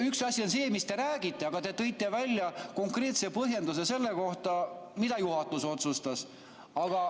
Üks asi on see, mis te räägite, aga te tõite välja konkreetse põhjenduse selle kohta, mida juhatus otsustas.